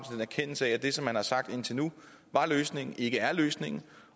en erkendelse af at det som man har sagt indtil nu er løsningen ikke er løsningen